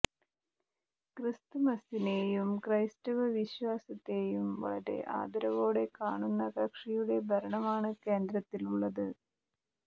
ക്രിസ്തുമസിനെയും ക്രൈസ്തവ വിശ്വാസത്തെയും വളരെ ആദരവോടെ കാണുന്ന കക്ഷിയുടെ ഭരണമാണ് കേന്ദ്രത്തിലുള്ളത്